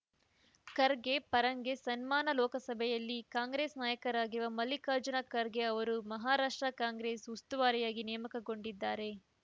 ಖರ್ಗೆ ಪರಂಗೆ ಸನ್ಮಾನ ಲೋಕಸಭೆಯಲ್ಲಿ ಕಾಂಗ್ರೆಸ್‌ ನಾಯಕರಾಗಿರುವ ಮಲ್ಲಿಕಾರ್ಜುನ ಖರ್ಗೆ ಅವರು ಮಹಾರಾಷ್ಟ್ರ ಕಾಂಗ್ರೆಸ್‌ ಉಸ್ತುವಾರಿಯಾಗಿ ನೇಮಕಗೊಂಡಿದ್ದಾರೆ